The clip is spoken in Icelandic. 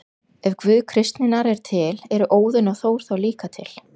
Ef Guð kristninnar er til, eru Óðinn og Þór þá líka til?